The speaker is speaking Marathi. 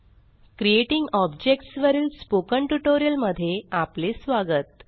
क्रिएटिंग ऑब्जेक्ट्स वरील स्पोकन ट्युटोरियलमध्ये आपले स्वागत